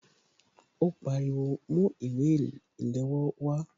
Ó pariwo "Mú ìwé ìléwọ́ wá"